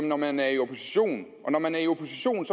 når man er i opposition når man er i opposition